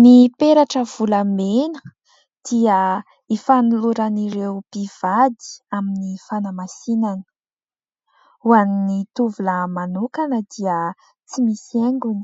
Ny peratra volamena dia hifanoloran'ireo mpivady amin'ny fanamasinana. Hoan'ny tovolahy manokana dia tsy misy haingony